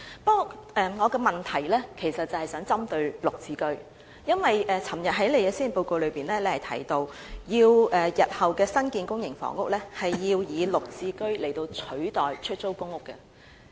不過，我的問題其實是想針對"綠置居"，因為昨天行政長官在施政報告中提到，在日後新建的公營房屋中，部分會以"綠置居"取代出租公屋。